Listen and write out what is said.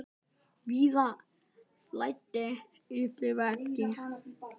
Víða flæddi yfir vegi.